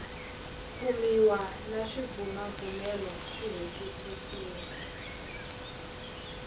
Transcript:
kumiwa na swibumabumelo swi hetisisiwa